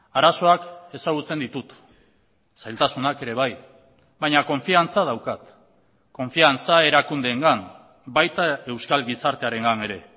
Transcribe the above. arazoak ezagutzen ditut zailtasunak ere bai baina konfiantza daukat konfiantza erakundeengan baita euskal gizartearengan ere